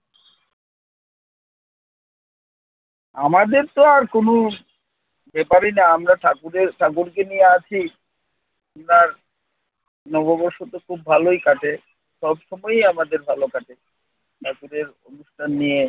আমাদের তো আর কোন ব্যাপারই না আমরা ঠাকুরের ঠাকুরকে নিয়ে আছি আপনার নববর্ষ তো খুব ভালই কাটে। সবসময় আমাদের ভালো কাটে। ঠাকুরের অনুষ্ঠান নিয়ে